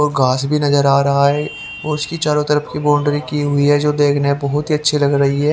ओर घास भी नजर आ रहा है और उसकी चारों तरफ की बाउंड्री की हुई है जो देखने में बहुत ही अच्छी लग रही है।